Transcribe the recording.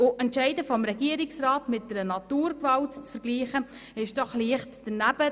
Entscheide des Regierungsrats mit einer Naturgewalt zu vergleichen, scheint mir zudem leicht daneben.